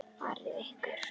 Fáið ykkur.